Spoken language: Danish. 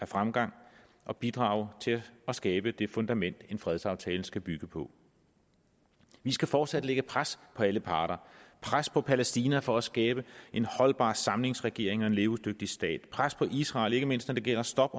fremgang og bidrage til at skabe det fundament en fredsaftale skal bygge på vi skal fortsat lægge pres på alle parter pres på palæstina for at skabe en holdbar samlingsregering og en levedygtig stat pres på israel ikke mindst når det gælder stop